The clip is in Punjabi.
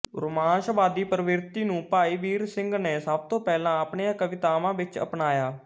ਰੁਮਾਂਸਵਾਦੀ ਪ੍ਰਵਿਰਤੀ ਨੂੰ ਭਾਈ ਵੀਰ ਸਿੰਘ ਨੇ ਸਭ ਤੋਂ ਪਹਿਲਾਂ ਆਪਣੀਆਂ ਕਵਿਤਾਵਾਂ ਵਿਚੱ ਅਪਣਾਇਆ